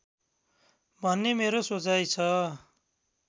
भन्ने मेरो सोचाइ छ